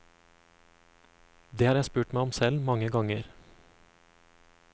Det har jeg spurt meg selv om mange ganger.